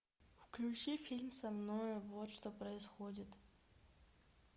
включи фильм со мною вот что происходит